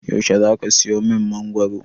Yaushe zaka siyo min mangoro?